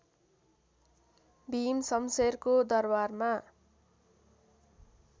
भीमशमशेरको दरबारमा